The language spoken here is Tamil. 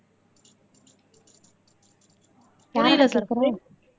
புரியல சஃப்ரின்